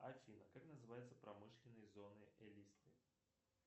афина как называются промышленные зоны элисты